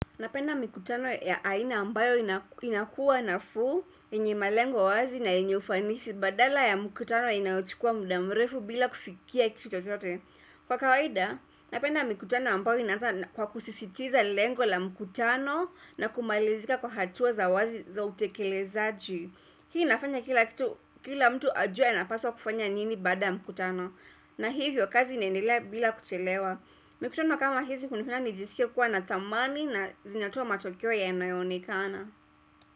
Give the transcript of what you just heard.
Napenda mkutano ya aina ambayo inakuwa nafuu, enye malengo wazi na enye ufanisi, badala ya mkutano inauchikua muda mrefu bila kufikia kito chote. Kwa kawaida, napenda mkutano ambayo inata kwa kusisitiza lengo la mkutano na kumalizika kwa hatua za wazi za utekele za ju. Hii nafanya kila mtu ajua inapaswa kufanya nini bada mkutano. Na hivyo kazi inenile bila kuchelewa. Hii nafanya kila mtu ajua inapaswa kufanya nini bada mkutano.